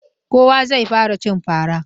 Kowa zai fara cin fara.